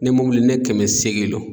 Ne ne kɛmɛ seegin lo.